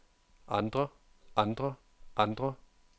andre andre andre